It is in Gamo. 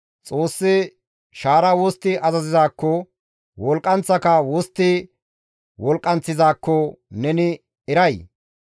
Xoossi shaara wostti azazizaakko, wolqqanththaka wostti wolqqanththizaakko neni eray?